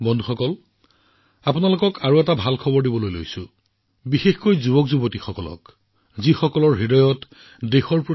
বন্ধুসকল আজি মই আপোনালোকক বিশেষকৈ মোৰ সৰু পুত্ৰকন্যাক আৰু এটা ভাল খবৰ জনাব বিচাৰিছো যিসকলৰ দেশৰ বাবে কিবা এটা কৰাৰ আবেগ সপোন আৰু দৃঢ়তা আছে